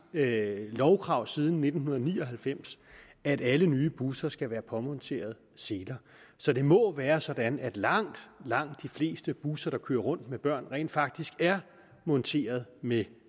lovkrav siden nitten ni og halvfems at alle nye busser skal være påmonteret seler så det må være sådan at langt langt de fleste busser der kører rundt med børn rent faktisk er monteret med